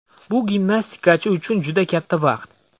Bu gimnastikachi uchun juda katta vaqt.